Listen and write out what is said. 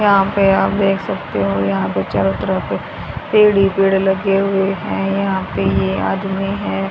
यहां पे आप देख सकते हो यहां पे चारों तरफ पेड़ ही पेड़ लगे हुए है यहां पे ये आदमी है।